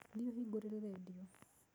Thiĩ ũhingũrĩre redio.